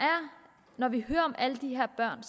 når vi hører om alle de her børn